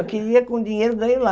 Eu queria que o dinheiro ganho lá.